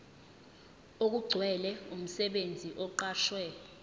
okugcwele umsebenzi oqashwe